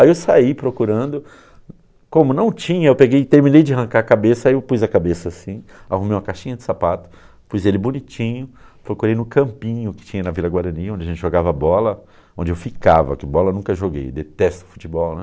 Aí eu saí procurando, como não tinha, eu peguei, eu terminei de arrancar a cabeça, aí eu pus a cabeça assim, arrumei uma caixinha de sapato, pus ele bonitinho, procurei no campinho que tinha na Vila Guarani, onde a gente jogava bola, onde eu ficava, porque bola eu nunca joguei, detesto futebol, né.